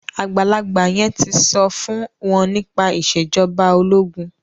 àgbàlagbà yen tí so fún wón nípa Ìṣèjọba ológun.